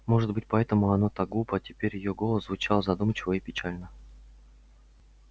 может быть поэтому оно так глупо теперь её голос звучал задумчиво и печально